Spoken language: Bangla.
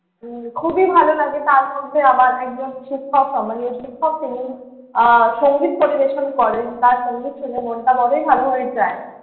উম খুবই ভালো লাগে। তার মধ্যে আমার একজন শিক্ষক সম্মানীয় শিক্ষক তিনি আহ সঙ্গীত পরিবেশন করেন। তাঁর সঙ্গীত শুনে মনটা বড়ই ভালো হয়ে যায়।